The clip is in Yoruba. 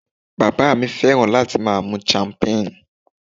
Bàbá mi fẹ́ràn láti máa mu champagne